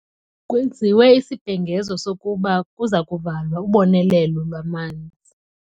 Kwenziwe isibhengezo sokuba kuza kuvalwa ubonelelo lwamanzi.